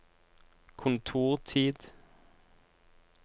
kontortid